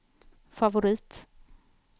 favorit